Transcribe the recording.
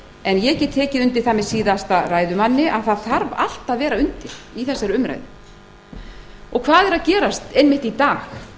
en ég get tekið undir það með síðasta ræðumanni að það þarf allt að vera undir í þessari umræðu hvað er að gerast einmitt í dag